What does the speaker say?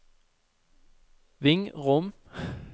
Vingrom